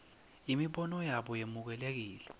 imibono yabo yemukelekile